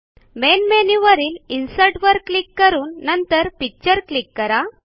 main मेनूवरील insert वर click करून नंतर पिक्चर क्लिक करा